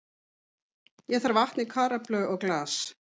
Ég þarf vatn í karöflu og glas.